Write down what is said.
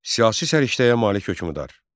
Siyasi səriştəyə malik hökmdar.